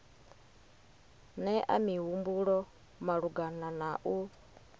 nea mihumbulo malugana na u